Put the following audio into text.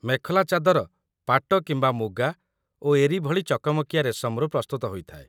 ମେଖଲା ଚାଦର ପାଟ କିମ୍ବା ମୁଗା ଓ ଏରି ଭଳି ଚକମକିଆ ରେଶମରୁ ପ୍ରସ୍ତୁତ ହୋଇଥାଏ